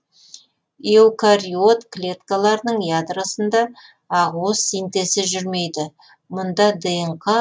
эукариот клеткаларының ядросында ақуыз синтезі жүрмейді мұнда днқ